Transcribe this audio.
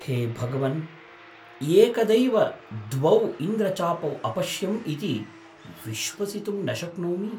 हे भगवन्! एकदैव द्वौ इन्द्रचापौ अपश्यम् इति विश्वसितुं न शक्नोमि।